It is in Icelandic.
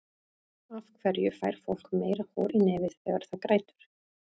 af hverju fær fólk meira hor í nefið þegar það grætur